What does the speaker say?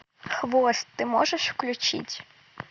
хвост ты можешь включить